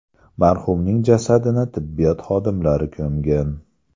Marhumning jasadini tibbiyot xodimlari ko‘mgan.